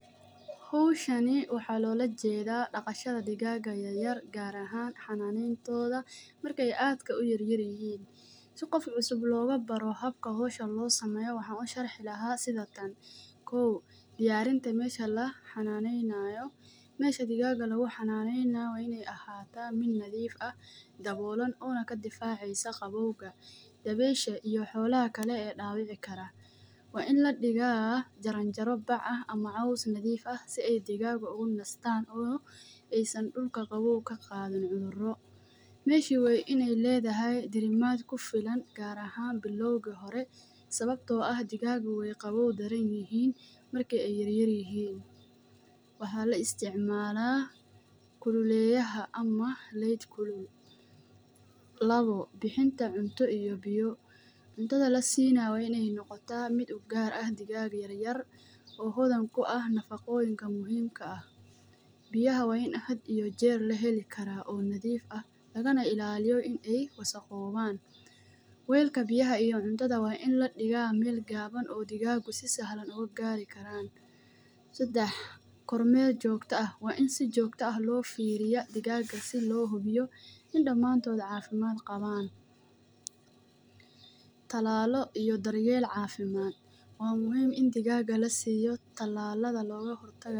Hawshan waxaa laga loola jeedaa dhaqashada digaagga yar yar, gaar ahaan marka ay aad u yar yar yihiin. Si qof cusub loo baro habka hawshan loo sameeyo waxaan u sharixi lahaa sidan Koow: diyaarinta meesha la xanaanayo — meesha digaagga lagu xanaanayo waa in ay noqotaa meel nadiif ah, dabooleysan oo naga difaacaysa qaboowga, dabaysha iyo xoolaha kale ee dhibaato u geysan karo. Waa in la dhigaa jaranjaro baak ah ama caws nadiif ah si ay digaagga ugu nastaan, oo saan digaagga aysan ka qaadin cudurada dhulka. Meesha waa in ay leedahay diirimaad ku filan, gaar ahaan bilowga, sababtoo ah digaagga qaboowga way u nugul yihiin marka ay yar yar yihiin. Waxaa la isticmaalaa kuleyliyaha ama light kulul. Labo: bixinta cunto iyo biyo — cuntada la siinayo waa inay noqotaa mid u gaar ah digaagga yar yar oo hodan ku ah nafaqooyinka muhiimka ah. Biyaha waa inay noqdaan kuwo had iyo jeer la heli karo oo nadiif ah, lagana ilaaliyo inay wasakhoobaan. Weelka cuntada iyo biyaha waa in la dhigaa meel gabbanaan oo digaagga si sahlan u gaari karaan. Saddex: goor meer joogto ah — waa in si joogto ah loo fiiriyo dhammaantood si loo hubiyo in dhammaantood caafimaad qabaan. Tallaalo iyo daryeel caafimaad — waa muhiim in digaagga la siiyo tallaalada looga hortago.